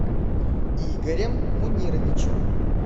игорем мунировичем